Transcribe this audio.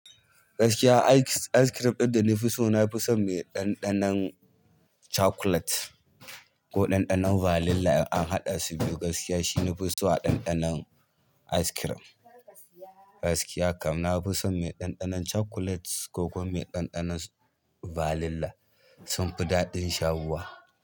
Gaskiya ice cream ɗin da na fi so na fi so mai ɗanɗanon cakulet ko ɗanɗanon vanila in an haɗa su biyu gaskiya shine na fi so a ɗanɗanon ice cream. Gaskiya kam na fi so mai ɗanɗanon cakulet ko kuma ɗanɗanon vanila sun fi daɗin shawuwa.